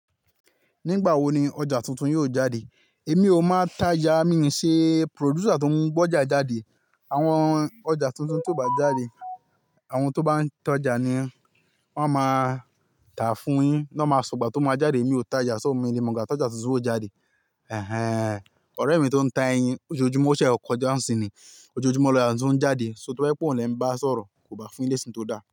Nígbà wo ni ọjà tuntun yóò jáde? Èmi ò máa ta já, mi ò ṣe producer tó ń gbe ọjà jáde. Àwọn ọjà tuntun tó bá jáde, àwọn tó bá ń tọ́jà ni wọ́n máa tà fún yín. Nọ́ máa sọ ìgbà tó máa jáde, èmi ò ta já. So o mi o lè mọ̀ ìgbà? Tọjà tuntun ò jáde. Ọ̀rẹ́ mi tó n táa ẹyín iṣoju mí o ṣẹ kọjá ńsin ni ojojúmọ́ lajọ ń jáde. So tó bá jẹ́ oun lẹ ń bá sọ̀rọ̀ kò bá fún lé sí tò dáa.